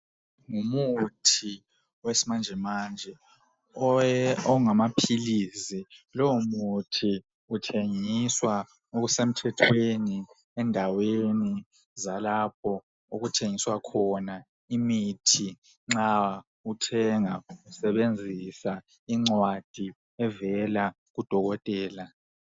Ngumuthi wesimanje manje ongamaphilizi lowo muthi uthengiswa okuse mthethweni endaweni zalapho okuthengiswa khona imithi nxa uthenga usebenzisa incwadi evela kudokotela.